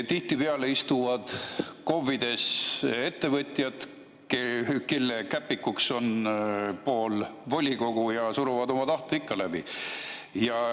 Tihtipeale istuvad KOV‑ides ettevõtjad, kelle käpik on pool volikogu, ja suruvad oma tahte ikka läbi.